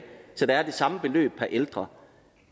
så der er det samme beløb per ældre